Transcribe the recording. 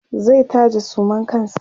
zai taje suman kansa